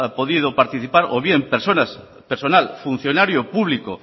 podido participar o bien personal funcionario público